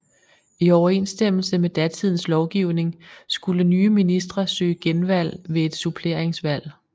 I overensstemmelse med datidens lovgivning skulle nye ministre søge genvalg ved et suppleringsvalg